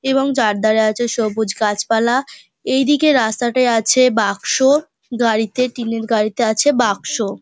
এবং চারধারে আছে সবুজ গাছপালা। এই দিকে রাস্তাটে আছে বাক্স। গাড়িতে টিনের গাড়িতে আছে বাক্স।